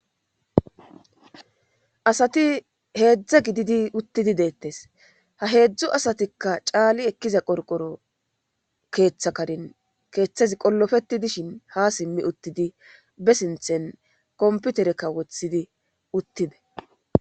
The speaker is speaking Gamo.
asati heedzdza gididi uttidi deettes ha heedzdzu asatikka caali ekkiza qorqoro keeththakadin keeththezi qollofeti dishin ha simmi uttidi be sinthen komputerekka wothidi uttides